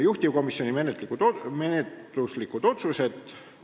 Juhtivkomisjoni menetluslikud otsused.